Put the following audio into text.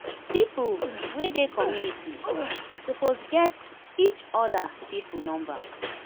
pipo wey dey community suppose get each oda pipo number